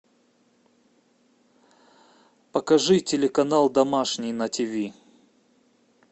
покажи телеканал домашний на ти ви